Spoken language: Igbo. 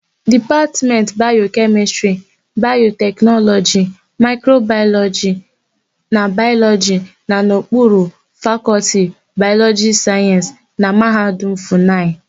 Dipatmentị Bayokemịstịrị, Bayoteknọlọji, Maịkrobayọlọjị na Bayọlọjị nọ n'okpuru Fakọltị Bayọlọjịkal Sayensị na Mahadum Fụnayị.